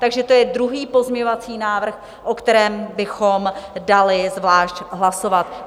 Takže to je druhý pozměňovací návrh, o kterém bychom dali zvlášť hlasovat.